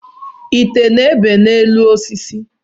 Nte na-ebe osisi